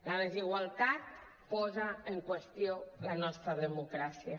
la desigualtat posa en qüestió la nostra democràcia